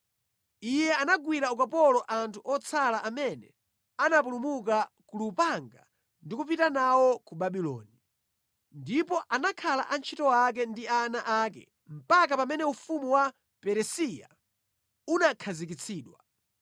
Iye anagwira ukapolo anthu otsala amene anapulumuka ku lupanga ndi kupita nawo ku Babuloni, ndipo anakhala antchito ake ndi ana ake mpaka pamene ufumu wa Peresiya unakhazikitsidwa.